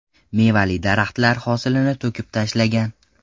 Mevali daraxtlar hosilini to‘kib tashlagan.